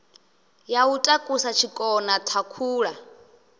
ya u takusa tshikona thakhula